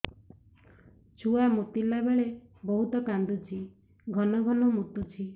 ଛୁଆ ମୁତିଲା ବେଳେ ବହୁତ କାନ୍ଦୁଛି ଘନ ଘନ ମୁତୁଛି